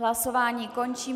Hlasování končím.